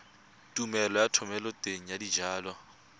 tumelelo ya thomeloteng ya dijalo